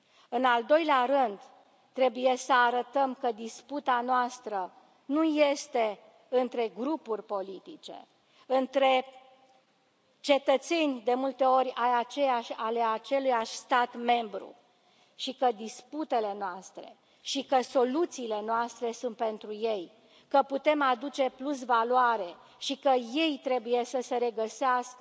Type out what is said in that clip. În al doilea rând, trebuie să arătăm că disputa noastră nu este între grupuri politice, între cetățeni de multe ori ai aceluiași stat membru și că disputele noastre și că soluțiile noastre sunt pentru ei, că putem aduce plusvaloare și că ei trebuie să se regăsească